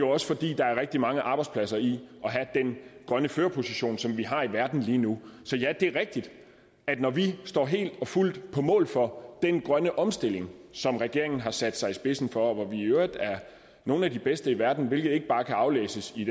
også fordi der er rigtig mange arbejdspladser i at have den grønne førerposition som vi har i verden lige nu så ja det er rigtigt at når vi står helt og fuldt på mål for den grønne omstilling som regeringen har sat sig i spidsen for og vi i øvrigt er nogle af de bedste i verden hvilket ikke bare kan aflæses i